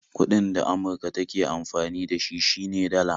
Kuɗin da Amurka take amfani da shi ,shi ne Dala